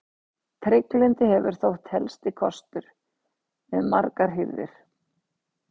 Trygglyndi hefur þótt helsti kostur við margar hirðir.